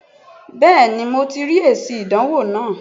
Bẹ́ẹ̀ni mo ti rí èsì ìdánwò náà